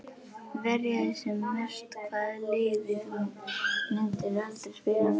Verja sem mest Hvaða liði myndir þú aldrei spila með?